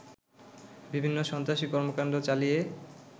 বিভিন্ন সন্ত্রাসী কর্মকাণ্ড চালিয়ে